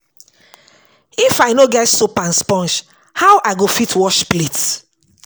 If I no get soap and sponge, how I go fit wash plate?